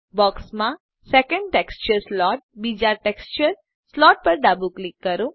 બોક્સમાં second texture slot બીજા texture slot પર ડાબું ક્લિક કરો